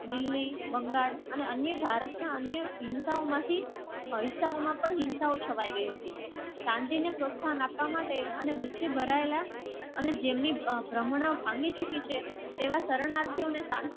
દિલ્હી બંગાળ અને અન્ય ભારતના અન્ય હિંદુમાંથી પવિત્રાઓમાં પણ હિંસાઓ છવાઈ ગઈ હતી. અને ગુસ્સે ભરાયેલા અને જેમની ભ્રમણા ભાંગી ચૂકી છે. તેવા શરણાર્થીઓને